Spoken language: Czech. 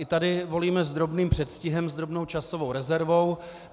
I tady volíme s drobným předstihem, s drobnou časovou rezervou.